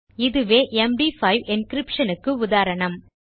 இதுவே MD five encryption க்கு உதாரணம்